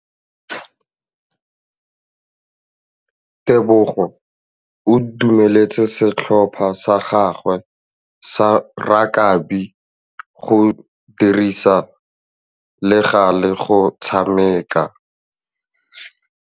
Tebogô o dumeletse setlhopha sa gagwe sa rakabi go dirisa le galê go tshameka.